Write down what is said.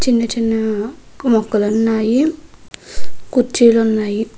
చిన్న మొక్కలు ఉన్నాయి. కుర్చీలు ఉన్నాయి.